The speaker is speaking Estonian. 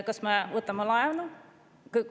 Kas me võtame laenu?